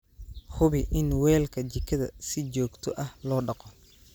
Hubi in weelka jikada si joogto ah loo dhaqo.